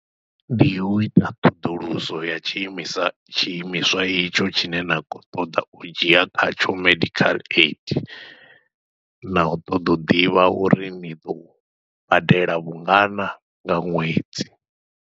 Ndi uita ṱhoḓuluso ya tshiimiswa tshiimiswa itsho tshine na khou ṱoḓa u dzhia kha tsho medical aid, nau ṱoḓa u ḓivha uri ni ḓo badela vhungana nga ṅwedzi.